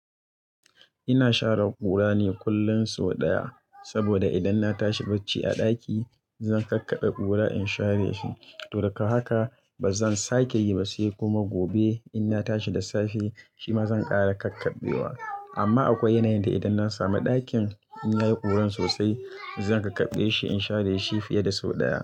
Ina share kura ne kullum sau ɗaya, saboda idan na tashi bacci a daki zan kakkabe kura in share shi, to gada haka ba zan sake yi ba, sai kuma gobe idan na tashi da safe, shi ma zan ƙara kakkabe wa. Amma akwai yanayin da idan na sami ɗakin in yayi kuran sosai, zan kakkabe shi in share shi fiye da sau ɗaya.